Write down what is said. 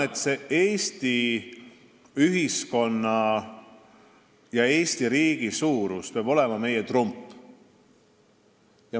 Eesti ühiskonna ja riigi suurus peab olema meie trump.